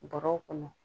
Bɔrɔw kɔnɔ